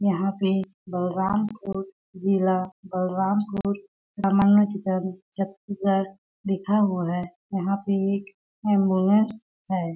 यहाँ पे बलरामपुर जिला बलरामपुर छत्तीसगढ़ लिखा हुआ है यहाँ पे एक एम्बुलेंस है।